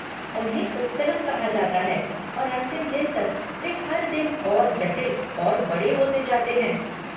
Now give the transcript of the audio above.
उन्हें पुक्कलम कहा जाता है और अंतिम दिन तक, वे हर दिन और जटिल और बड़े होते जाते हैं।